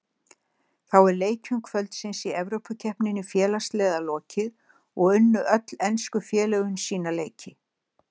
Þá er leikjum kvöldsins í Evrópukeppni félagsliða lokið og unnu öll ensku félögin sína leiki.